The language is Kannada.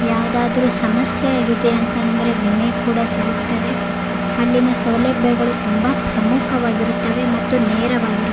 ಯಾವ್ದಾದ್ರು ಸಮಸ್ಯೆ ಆಗಿದೆ ಅಂತಂದ್ರೆ ವಿಮೆ ಕೂಡ ಸಿಗುತ್ತದೆ ಅಲ್ಲಿನ ಸೌಲಭ್ಯಗಳು ತುಂಬಾ ಪ್ರಮುಖವಾಗಿರುತ್ತದೆ ಮತ್ತೆ ನೇರವಾಗಿರು --